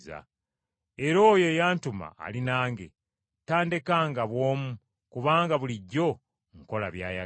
Era oyo eyantuma ali nange, tandekanga bw’omu, kubanga bulijjo nkola by’ayagala.”